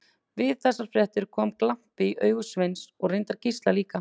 Við þessar fréttir kom glampi í augu Sveins og reyndar Gísla líka.